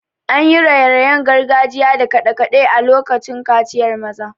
An yi raye-rayen gargajiya da kade-kade a lokacin kaciyar maza.